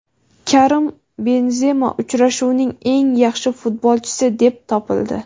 Karim Benzema "Uchrashuvning eng yaxshi futbolchisi" deb topildi.